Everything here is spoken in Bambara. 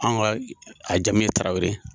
An ka a jamu ye tarawele ye.